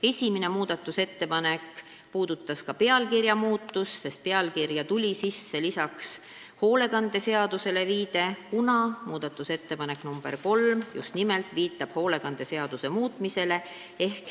Esimene muudatusettepanek puudutas pealkirja muutmist, sest pealkirja tuli sisse viide sotsiaalhoolekande seadusele, kuna muudatusettepanek nr 3 käsitleb just nimelt sotsiaalhoolekande seaduse muutmist.